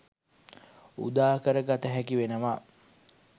උදාකර ගත හැකි වෙනවා.